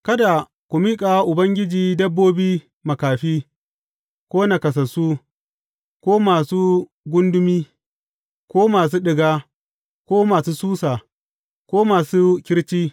Kada ku miƙa wa Ubangiji dabbobi makafi, ko naƙasassu, ko masu gundumi, ko masu ɗiga, ko masu susa, ko masu kirci.